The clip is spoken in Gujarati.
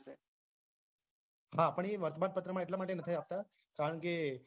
હા પણ એ વર્તમાન પત્રમાં એટલાં માટે નથી આપતા કારણ કે